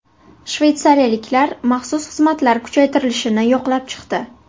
Shveysariyaliklar maxsus xizmatlar kuchaytirilishini yoqlab chiqdi.